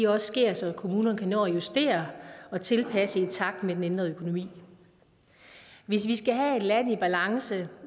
også sker så kommunerne kan nå at justere og tilpasse i takt med den ændrede økonomi hvis vi skal have et land i balance